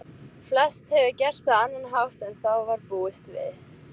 Flest hefur gerst á annan hátt en þá var búist við.